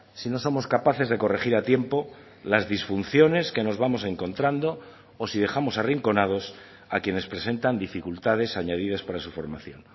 si no somos capaces de corregir a tiempo las disfunciones que nos vamos encontrando o si dejamos arrinconados a quienes presentan dificultades añadidas para su formación